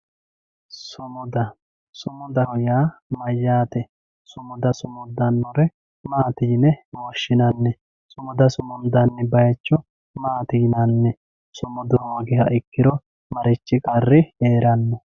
sumuda sumudaho yaa mayaate sumuda sumudannore maati yine woshshinanni sumuda sumundanni bayiicho maati yinanni sumudu hoogiha ikkiro marichi qarri heeranno